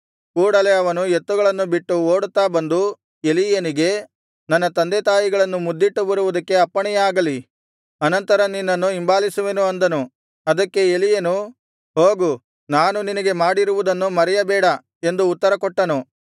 ಕೂಡಲೇ ಅವನು ಎತ್ತುಗಳನ್ನು ಬಿಟ್ಟು ಓಡುತ್ತಾ ಬಂದು ಎಲೀಯನಿಗೆ ನನ್ನ ತಂದೆತಾಯಿಗಳನ್ನು ಮುದ್ದಿಟ್ಟು ಬರುವುದಕ್ಕೆ ಅಪ್ಪಣೆಯಾಗಲಿ ಅನಂತರ ನಿನ್ನನ್ನು ಹಿಂಬಾಲಿಸುವೆನು ಅಂದನು ಅದಕ್ಕೆ ಎಲೀಯನು ಹೋಗು ನಾನು ನಿನಗೆ ಮಾಡಿರುವುದನ್ನು ಮರೆಯಬೇಡ ಎಂದು ಉತ್ತರಕೊಟ್ಟನು